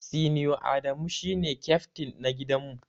Senior Adamu shine kyaftin na gidan mu.